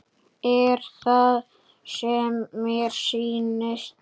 Er það sem mér sýnist?